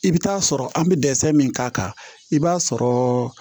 I bɛ taa sɔrɔ an bɛ dɛsɛ min k'a kan i b'a sɔrɔ